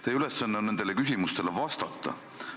Teie ülesanne on nendele küsimustele vastata.